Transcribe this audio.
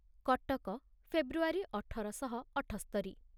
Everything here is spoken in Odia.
କଟକ ଫେବୃଆରୀ ଅଠର ଶହ ଅଠସ୍ତରିରେ